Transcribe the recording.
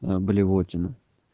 а блевотина